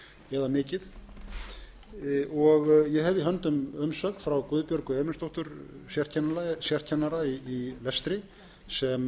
eða mikið ég hef í höndum umsögn frá guðbjörgu emilsdóttur sérkennara í lestri sem